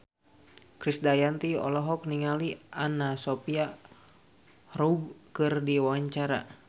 Krisdayanti olohok ningali Anna Sophia Robb keur diwawancara